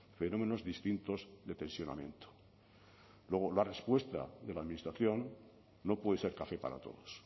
fenómenos distintos de tensionamiento luego la respuesta de la administración no puede ser café para todos